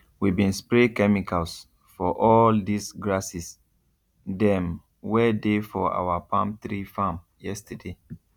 we bin spray chemicals for all dis grasses dem wey dey for our palm tree farm yesterday